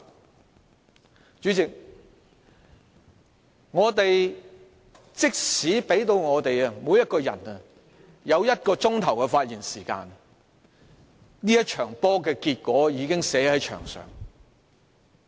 代理主席，即使每位議員獲給予1小時發言時間，這場球賽的結果早已寫在牆上。